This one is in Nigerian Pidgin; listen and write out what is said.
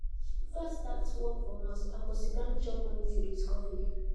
before i start work from house i go siddon chop morning food with coffee